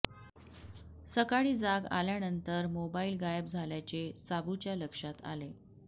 सकाळी जाग आल्यानंतर मोबाइल गायब झाल्याचे साबूच्या लक्षात आले